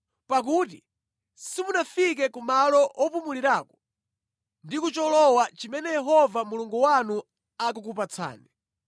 pakuti simunafike ku malo opumulirako ndi ku cholowa chimene Yehova Mulungu wanu akukupatsani.